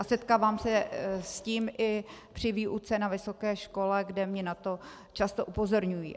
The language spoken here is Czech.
A setkávám se s tím i při výuce na vysoké škole, kde mě na to často upozorňují.